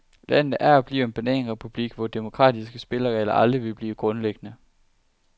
Landet er og bliver en bananrepublik, hvor demokratiske spilleregler aldrig vil blive grundlæggende.